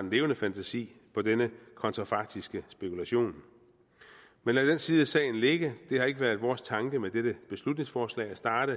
en levende fantasi på denne kontrafaktiske spekulation men lad den side af sagen ligge det har ikke været vores tanke med dette beslutningsforslag at starte